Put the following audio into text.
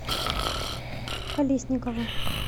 колесникова